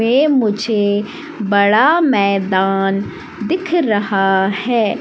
ये मुझे बड़ा मैदान दिख रहा है।